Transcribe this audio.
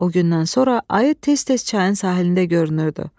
O gündən sonra ayı tez-tez çayın sahilində görünürdü.